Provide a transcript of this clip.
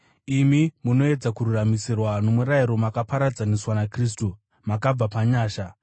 Imi munoedza kururamisirwa nomurayiro makaparadzaniswa naKristu; makabva panyasha.